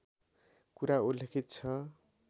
कुरा उल्लेखित छ